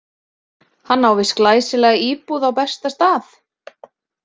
Hann á víst glæsilega íbúð á besta stað.